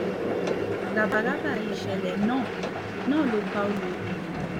ràbàràbà ìṣẹ̀lẹ̀ náà náà ló pa olórí yìí